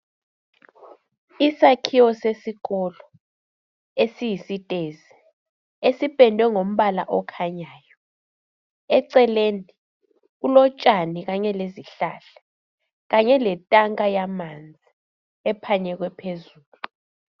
Isakhiwo sesikolo esiyisitezi esipendwe ngombala okhanyayo eceleni kulotshani kanye lezihlahla kanye letanka yamanzi ephanyekwe phezulu.